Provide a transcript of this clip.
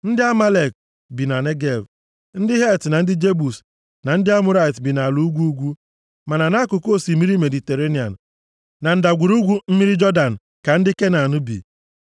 Ndị Amalek bi na Negev, ndị Het na ndị Jebus na ndị Amọrait bi nʼala ugwu ugwu. Ma nʼakụkụ osimiri Mediterenịan na ndagwurugwu mmiri Jọdan ka ndị Kenan bi.”